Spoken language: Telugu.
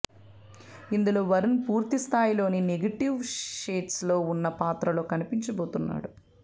ఇందులో వరుణ్ పూర్తిస్థాయిలో నెగిటివ్ షేడ్స్ లో ఉన్న పాత్రలో కనిపించబోతున్నాడు